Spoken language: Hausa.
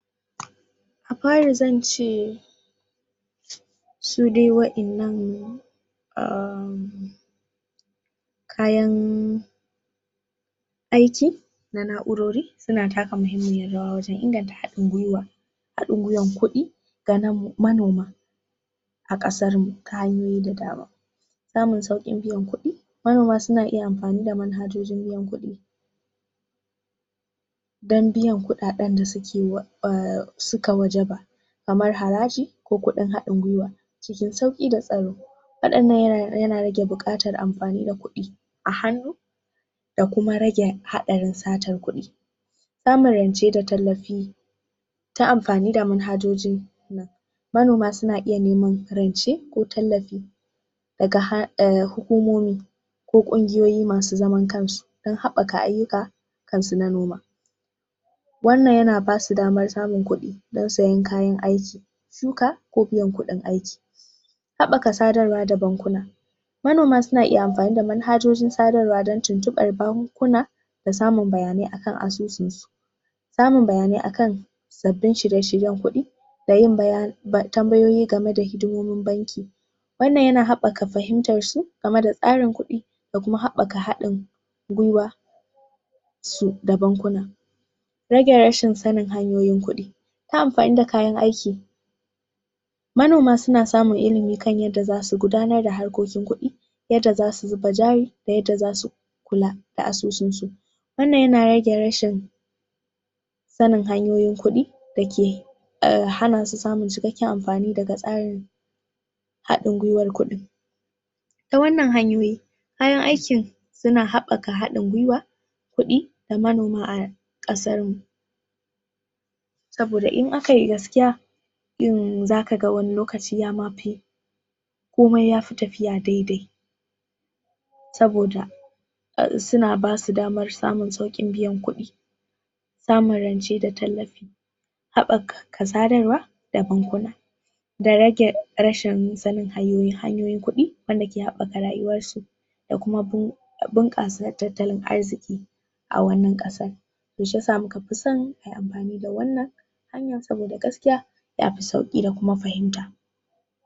A' fare zan ce su de waddanan um kayan aiki, da na'urore suna taka mahimiyar rawa wajen inganta hadin gwiwa a? kudi ga manoma a kasar kame da dama za mu saukin biyan kudi manoma suna iya amfani da manhajojin biyan kudi dan biyan kudaden da suka wajaba kamar haraji ko kudin hadin gwiwa? waddanan na rage bukatan amfani da kudi a hanu da kuma rage hadarin tsacin kudi da tallafi ta amfani da manhajoji manoma suna iya neman ko tallafi daga hukomomi ko kungiyoyi masu zaman kan su don habbaka ayuka kan su manoma wannan yana basu damar samun kudi, don sayan kayan aiki. ko biyan kudin aiki habbaka da bankuna manoma suna iya amfani da manhajojin tsadan tukan bankuna da samun bayanai akan amsosin su samun bayanai akan sabbin shirye=shiryen kudi da yin tambayoyi game da hidimomin banki wannan yana habbaka fahimtan su, game da tsarin kudi da kuma habbaka hadin gwiwar su da bankuna. Rage rashin sanin hanyoyin kudi. ta amfani da kayan aiki Manoma suna samun ilimi kan yadda za su gudanar da harkokin kudi, yadda za su yi bajari da yadda za su kula da asusun su Wannan yana rage rashin sanin hanyoyin kudi da ke hana su samun cikkeken amfani daga tsarin hadin gwiwar kudin ta wannan hanyoyin kayan aikin suna habbakan hadin gwiwa, kudi, da manoma a kasan, saboda in aka yi gaskiya yin za ka ga wane lokacin yama fi komai yafi tafiya daidai saboda suna basu damar samun saukin biyan kudi samurance da tallafi habbaka katsarewa da bunkuna. da rage rashin sanin hanyoyin kudi, da ke habbaka rayuwan su da kuma bunka su na tattalin arziki a wane kasan to sai yasa muka fi son amfani da wannan hanyan saboda gaskiya